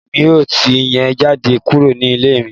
Èmi yóò tì yín jáde kúrò ní ilé mi